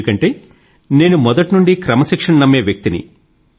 ఎందుకంటే నేను మొదటి నుండి క్రమశిక్షణ ను నమ్మే వ్యక్తి ని